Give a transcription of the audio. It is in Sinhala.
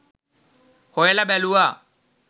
හොයල බැලුවා